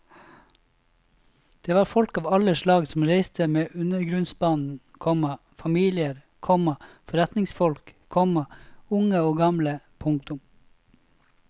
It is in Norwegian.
Det var folk av alle slag som reiste med undergrunnsbanen, komma familier, komma forretningsfolk, komma unge og gamle. punktum